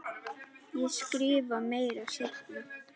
Ég skrifa meira seinna.